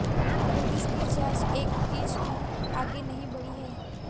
police की जांच एक इंच भी आगे नहीं बढ़ी है